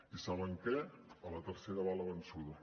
i saben què a la tercera va la vençuda